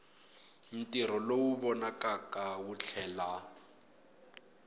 ntirho lowu vonakaka wu tlhela